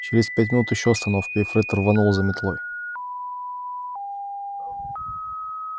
через пять минут ещё становка и фред рванул за метлой